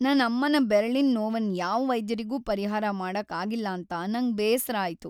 ನನ್ ಅಮ್ಮನ ಬೆರಳಿನ್ ನೊವನ್ ಯಾವ್ ವೈದ್ಯರಿಗು ಪರಿಹಾರ ಮಾಡಕ್ ಆಗಿಲ್ಲಾಂತ ನಂಗ್ ಬೇಸ್ರ ಆಯ್ತು.